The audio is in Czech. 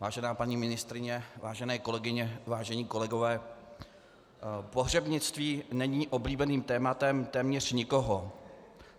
Vážená paní ministryně, vážené kolegyně, vážení kolegové, pohřebnictví není oblíbeným tématem téměř nikoho.